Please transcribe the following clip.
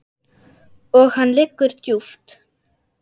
Og hann liggur djúpt